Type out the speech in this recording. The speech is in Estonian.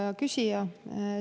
Hea küsija!